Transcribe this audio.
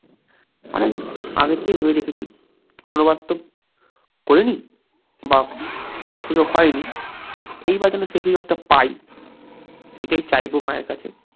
অনেক আগে থেকেই ভেবে রেখেছি, কোনোবার তো করিনি বা করার সুযোগ হয়নি, এইবার যেন সেই সুযোগটা পাই এটাই চাইবো মায়ের কাছে।